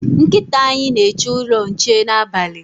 Nkịta anyị na-eche ụlọ nche n'abalị